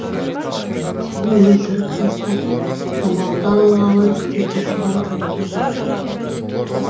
сен өлтіріп тастап жамалды алғалы істеп отырған әрекетің